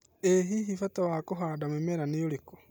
ĩ hihi mbata wa kũhanda mĩmera nĩ ũrĩkũ